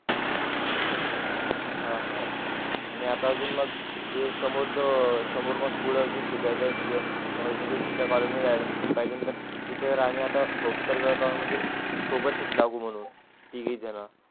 हां हां आणि आता अजून मग जे समोर जो समोर मग पुढे अजून शिकाय चं म्हणजे दुसर् या college मध्ये admission पाहिजे तर तिथे आम्ही आता होप तर तो म्हणजे सोबतच लागून तिघेजण.